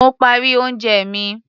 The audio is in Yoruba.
Mo parí oúnjẹ mi.